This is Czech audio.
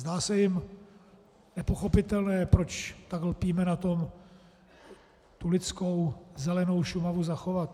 Zdá se jim nepochopitelné, proč tak lpíme na tom tu lidskou zelenou Šumavu zachovat.